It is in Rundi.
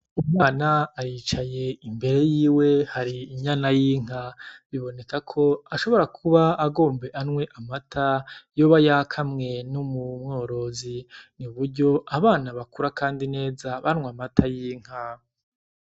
Umwana aricaye. Imbere yiwe hari inyana y'inka. Bibonekako ashobora kuba agomba anwe amata yoba yakamwe n'umworozi. Ni uburyo abana bakura kandi neza banwa amata y'inka.